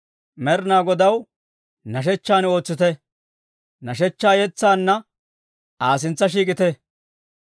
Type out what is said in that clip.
Med'inaa Godaw nashshechchan ootsite; nashshechchaa yetsaanna Aa sintsa shiik'ite.